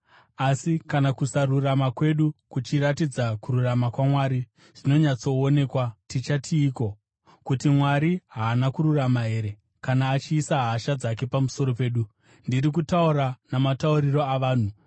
Asi kana kusarurama kwedu kuchiratidza kururama kwaMwari zvinonyatsoonekwa, tichatiiko? Kuti Mwari haana kururama here kana achiisa hasha dzake pamusoro pedu? (Ndiri kutaura namatauriro avanhu).